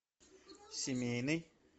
семейный